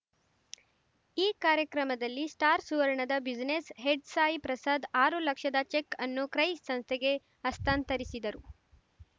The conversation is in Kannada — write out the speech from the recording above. ಈ ಕಾರ್ಯಕ್ರಮದಲ್ಲಿ ಸ್ಟಾರ್‌ ಸುವರ್ಣದ ಬ್ಯುಸಿನೆಸ್‌ ಹೆಡ್‌ ಸಾಯಿ ಪ್ರಸಾದ್‌ ಆರು ಲಕ್ಷದ ಚೆಕ್‌ ಅನ್ನು ಕ್ರೈ ಸಂಸ್ಥೆಗೆ ಹಸ್ತಾಂತರಿಸಿದರು